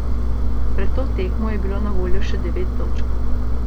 Pred to tekmo je bilo na voljo še devet točk.